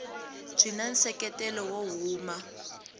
byi na nseketelo wo huma